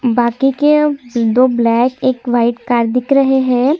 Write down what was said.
बाकी के दो ब्लैक एक वाइट कार दिख रहै है।